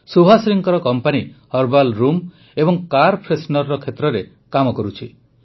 ସୁଭାଶ୍ରୀଙ୍କ company herbal room ଏବଂ car freshener କ୍ଷେତ୍ରରେ କାମ କରୁଛି